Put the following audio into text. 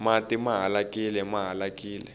mati mahalakile ma halakile